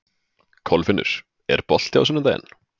Kolfinnur, er bolti á sunnudaginn?